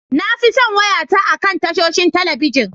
Na fi son wayata akan tashoshin talabijin.